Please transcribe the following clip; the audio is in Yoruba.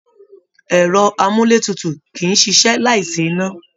Ẹrọ amúlétutù kìí ṣiṣẹ́ láì sí iná.